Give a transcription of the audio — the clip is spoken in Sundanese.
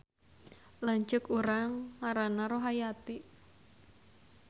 Lanceuk urang ngaranna Rohayati